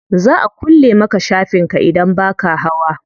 Za a kulle maka shafin ka idan baka hawa.